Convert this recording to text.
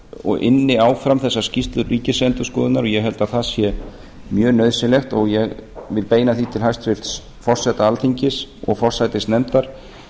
og ynni áfram þessa skýrslu ríkisendurskoðunar ég held að það sé mjög nauðsynlegt og ég vil beina því til hæstvirts forseta alþingis og forsætisnefndar